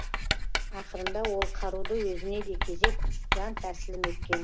ақырында ол қаруды өзіне де кезеп жан тәсілім еткен